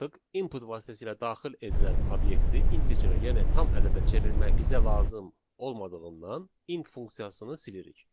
input vasitəsilə daxil edilən obyekti integerə, yəni tam ədədə çevirmək bizə lazım olmadığından int funksiyasını silirik.